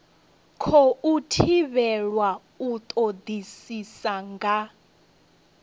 khou thivhelwa u todisisa nga